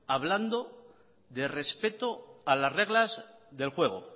hablando de respeto a las reglas del juego